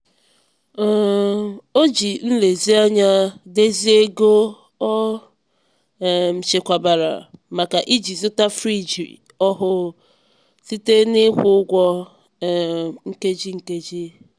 um o ji nlezianya dezie ego o um chekwabere maka iji zụta friji ọhụrụ site n'ịkwụ ụgwọ um nkeji nkeji.